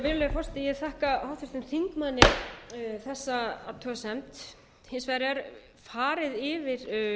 virðulegi forseti ég þakka háttvirtum þingmanni þessa athugasemd hins vegar er farið yfir